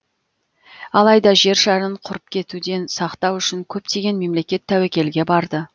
алайда жер шарын құрып кетуден сақтау үшін көптеген мемлекет тәуекелге барды